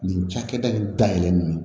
Nin cakɛda in dayɛlɛlen ye